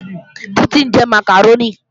Títí ń jẹ màkàrónì